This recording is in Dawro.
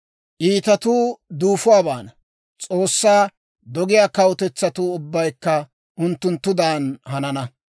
Iitatuu duufuwaa baana; S'oossaa dogiyaa kawutetsatuu ubbaykka unttunttudan hanana.